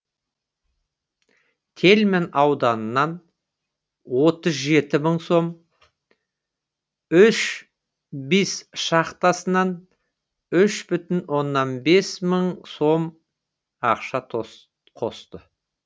тельман ауданынан отыз жеті мың сом үш бес шахтасынан үш бүтін оннан бес мың сом ақша қосты